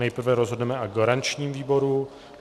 Nejprve rozhodneme o garančním výboru.